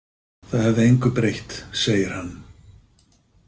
Það hefði engu breytt, segir hann.